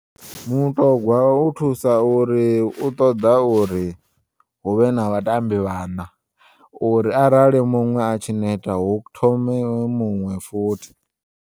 Mutogwa u thusa uri uṱoḓa uri huvhe na vhatambi vhana uri arali muṅwe atshi neta hu thome muṅwe futhi.